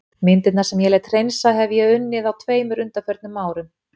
Myndirnar sem ég lét hreinsa hefi ég unnið á tveimur undanförnum árum.